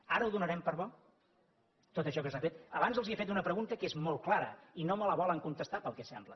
ara ho donarem per bo tot això que s’ha fet abans els he fet una pregunta que és molt clara i no me la volen contestar pel que sembla